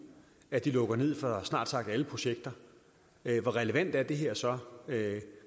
at den lukker ned for snart sagt alle projekter hvor relevant er det her så